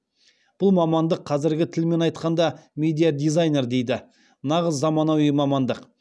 бұл мамандық қазіргі тілмен айтқанда медиа дизайнер дейді нағыз заманауи мамандық